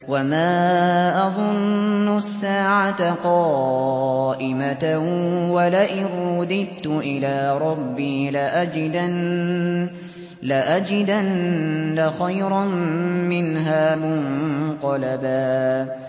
وَمَا أَظُنُّ السَّاعَةَ قَائِمَةً وَلَئِن رُّدِدتُّ إِلَىٰ رَبِّي لَأَجِدَنَّ خَيْرًا مِّنْهَا مُنقَلَبًا